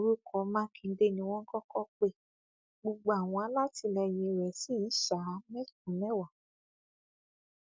orúkọ mákindé ni wọn kọkọ pe gbogbo àwọn alátìlẹyìn rẹ ṣì ń ṣá a ní mẹsànán mẹwàá